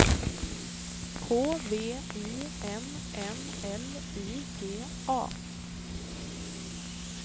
K V I N N L I G A